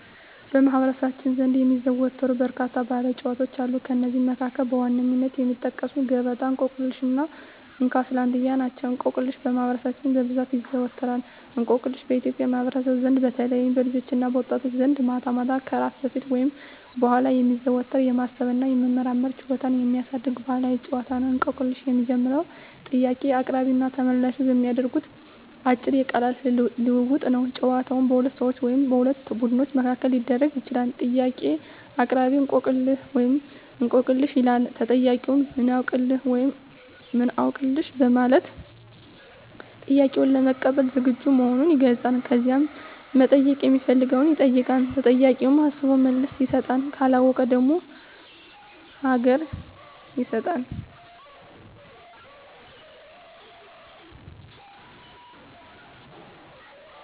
በማኅበረሰባችን ዘንድ የሚዘወተሩ በርካታ ባሕላዊ ጨዋታዎች አሉ። ከእነዚህም መካከል በዋነኝነት የሚጠቀሱት ገበጣ፣ እንቆቅልሽ እና እንካ ስላንትያ ናቸው። እንቆቅልሽ በማህበረሰባችን በብዛት ይዘዎተራል። እንቆቅልሽ በኢትዮጵያ ማኅበረሰብ ዘንድ በተለይም በልጆችና በወጣቶች ዘንድ ማታ ማታ ከእራት በፊት ወይም በኋላ የሚዘወተር፣ የማሰብ እና የመመራመር ችሎታን የሚያሳድግ ባሕላዊ ጨዋታ ነው። እንቆቅልሽ የሚጀምረው ጥያቄ አቅራቢውና ተመልላሹ በሚያደርጉት አጭር የቃላት ልውውጥ ነው። ጨዋታው በሁለት ሰዎች ወይም በሁለት ቡድኖች መካከል ሊደረግ ይችላል። ጥያቄ አቅራቢ፦ "እንቆቅልህ/ሽ?" ይላል። ተጠያቂው፦ "ምን አውቅልህ?" (ወይም "አውቅልሽ") በማለት ጥያቄውን ለመቀበል ዝግጁ መሆኑን ይገልጻል። ከዛም መጠየቅ ሚፈልገውን ይጠይቃል። ተጠያቂውም አስቦ መልስ ይሰጣል። ካለወቀው ደግሞ ሀገ